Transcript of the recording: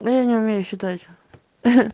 я не умею считать